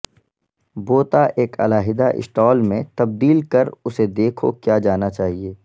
بوتا ایک علیحدہ اسٹال میں تبدیل کر اسے دیکھو کیا جانا چاہئے